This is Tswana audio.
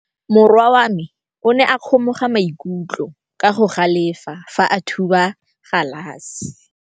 Morwa wa me o ne a kgomoga maikutlo ka go galefa fa a thuba galase.